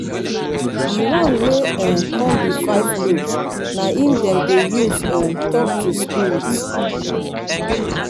di one wey um kon bi five lobes na em dem dey use um tok to spirit